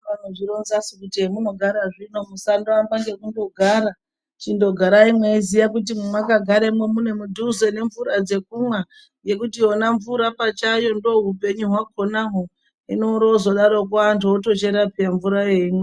Vanozvironzasu kuti hemunogara zvino musandoamba ngekundogarai. Chindogarai mweiziya kuti mwemwakagare mune mudhuze nemvura dzekumwa ngekuti yona mvura pachayo ndoohupenyu hwakonahwo. Hino wozodaroko antu otochera peya mvura eimwa.